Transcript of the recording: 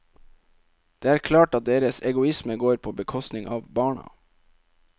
Det er klart at deres egoisme går på bekostning av barna.